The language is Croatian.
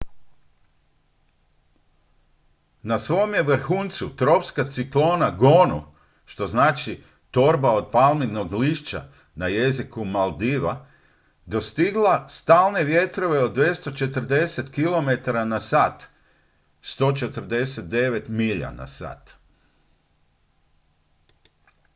"na svom je vrhuncu tropska ciklona gonu što znači "torba od palminog lišća" na jeziku maldiva dostigla stalne vjetrove od 240 kilometara na sat 149 milja na sat.